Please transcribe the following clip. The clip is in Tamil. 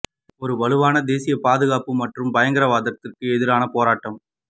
ஒரு வலுவான தேசிய பாதுகாப்பு பாதுகாப்பு மற்றும் பயங்கரவாதத்திற்கு எதிரான போராட்டம்